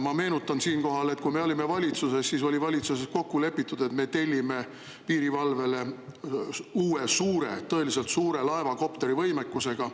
Ma meenutan siinkohal, et kui meie olime valitsuses, siis oli valitsuses kokku lepitud, et me tellime piirivalvele uue suure, tõeliselt suure laeva, kopterivõimekusega.